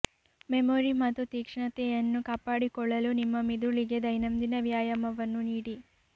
memory ಮತ್ತು ತೀಕ್ಷ್ಣತೆಯನ್ನು ಕಾಪಾಡಿಕೊಳ್ಳಲು ನಿಮ್ಮ ಮಿದುಳಿಗೆ ದೈನಂದಿನ ವ್ಯಾಯಾಮವನ್ನು ನೀಡಿ